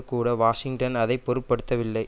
கூட வாஷிங்டன் அதை பொருட்படுத்தவில்லை